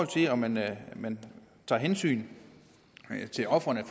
til om man man tager hensyn til ofrene